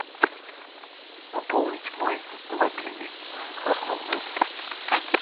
пополнить мой мобильный основной